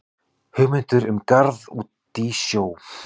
Hugmyndir um garð út í sjó